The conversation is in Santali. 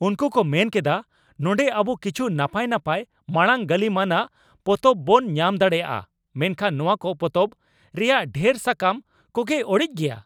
ᱩᱱᱠᱩ ᱠᱚ ᱢᱮᱱ ᱠᱮᱫᱟ, ᱱᱚᱰᱮᱸ ᱟᱵᱚ ᱠᱤᱪᱷᱩ ᱱᱟᱯᱟᱭ ᱱᱟᱯᱟᱭ ᱢᱟᱲᱟᱝ ᱜᱟᱹᱞᱤᱢᱟᱱᱟᱜ ᱯᱚᱛᱚᱵ ᱵᱚᱱ ᱧᱟᱢ ᱫᱟᱲᱮᱭᱟᱜᱼᱟ ᱢᱮᱱᱠᱷᱟᱱ ᱱᱚᱶᱟ ᱠᱚ ᱯᱚᱛᱚᱵ ᱨᱮᱭᱟᱜ ᱰᱷᱮᱨ ᱥᱟᱠᱟᱢ ᱠᱚᱜᱮ ᱚᱲᱮᱡ ᱜᱮᱭᱟ ᱾